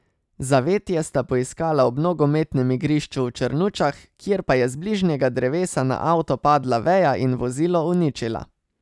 Zavetje sta poiskala ob nogometnem igrišču v Črnučah, kjer pa je z bližnjega drevesa na avto padla veja in vozilo uničila.